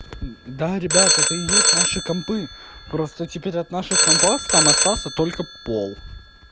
да ребята это и есть наши компы просто теперь от наших компов там остался только пол